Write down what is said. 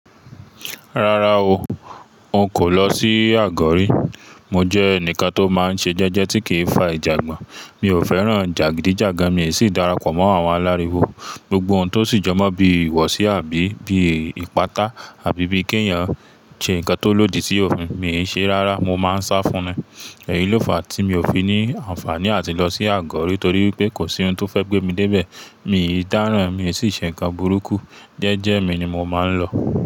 Rárá o, n kò lọ sí àgọ́ rí. Mo jẹ́ ẹnìkan tó máa ń ṣe jẹ́jẹ́ tí kì í fa ìjàngbọ̀n. Mi ò fẹ́ràn jàgídíjàgan, miì sì darapọ̀ mọ́ àwọn aláriwo. Gbogbo ohun tó sì jọ mọ́ bí ìwọ̀sí àbí bí ìpátá àbí bí kí èèyàn ṣe nǹkan tó lòdì sí òfin, miì ń ṣeé rárá. Mo máa ń sá fun ni. Èyí ló fàá tí mi ò fi ní àǹfààní àti lọ sí àgọ́ rí torí pé kò sí ohun tó fẹ́ gbé mi dé ibẹ̀. Miì ń dáràn, miì sì ń ṣe nǹkan burúkú. Jẹ́ẹ́jẹ́ẹ́ mi ni mo máa ń lọ.